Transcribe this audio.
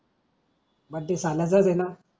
birthday सालाचा then